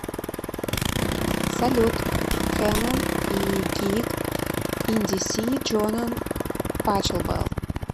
салют кэнон и гиг ин ди си джонан пачелбел